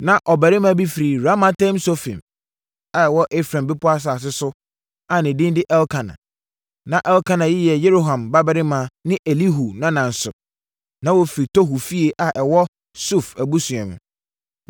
Na ɔbarima bi firi Ramataim-Sofim a ɛwɔ Efraim bepɔ asase so a ne din de Elkana. Na Elkana yi yɛ Yeroham babarima ne Elihu nana nso. Na wɔfiri Tohu fie, a ɛwɔ Suf abusua mu.